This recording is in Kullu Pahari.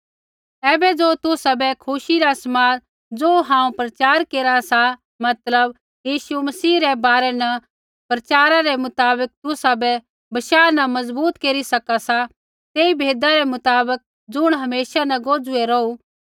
ऐबै ज़ो तुसाबै खुशी रा समाद ज़ो हांऊँ प्रचार केरा सा मतलब यीशु मसीह रै बारै न प्रचारा रै मुताबक तुसाबै बशाह न मजबूत केरी सका सा तेई भेदा रै मुताबक ज़ुण हमेशा न गुजुईया रौहू